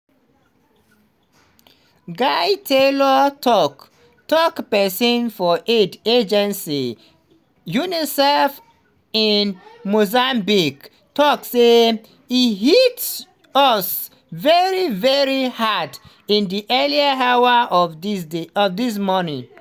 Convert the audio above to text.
guy taylor tok-tok pesin for aid agency unicef in mozambique tok say "e hit us very very hard in di early hours of dis morning".